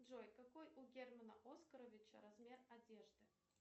джой какой у германа оскаровича размер одежды